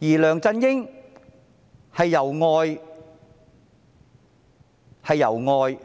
梁振英則是外來的，